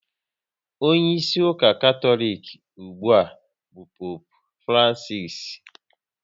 Onyeisi ụka Katọlik ugbua bụ Poopu Francisi